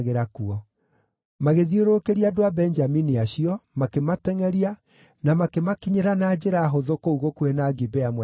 Magĩthiũrũrũkĩria andũ a Benjamini acio, makĩmatengʼeria, na makĩmakinyĩra na njĩra hũthũ kũu gũkuhĩ na Gibea mwena wa irathĩro.